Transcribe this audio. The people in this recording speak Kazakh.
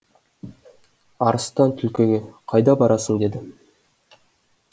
арыстан түлкіге қайда барасың деді